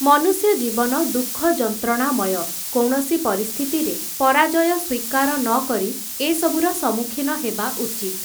ମନୁଷ୍ୟ ଜୀବନ ଦୁଃଖ ଯନ୍ତ୍ରଣାମୟ, କୌଣସି ପରିସ୍ଥିତିରେ ପରାଜୟ ସ୍ୱୀକାର ନକରି ଏସବୁର ସମ୍ମୁଖୀନ ହେବା ଉଚିତ୍ ।